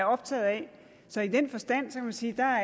optaget af så i den forstand kan man sige er